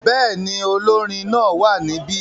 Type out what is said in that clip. Bẹ́ẹ̀ ni, olórin náà wà níbí.